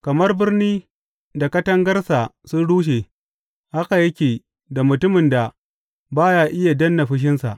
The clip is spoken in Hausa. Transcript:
Kamar birni da katangarsa sun rushe haka yake da mutumin da ba ya iya danne fushinsa.